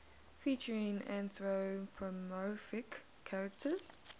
featuring anthropomorphic characters